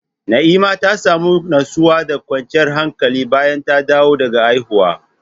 Na'ima ta samu nutsuwa da kwanciyar hankali bayan ta dawo daga haihuwa.